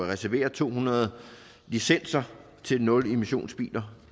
reservere to hundrede licenser til nulemissionsbiler